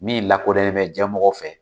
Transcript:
Min lakodɔnnen mɛ jɛn mɔgɔ fɛ.